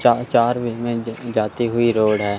चाह चार वे में जाती हुई रोड हैं।